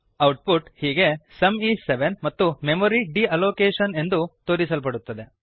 output ಹೀಗೆ sum is 7 ಮತ್ತು memory deallocation ಎಂದು ತೋರಿಸಲ್ಪಡುತ್ತದೆ